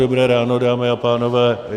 Dobré ráno, dámy a pánové.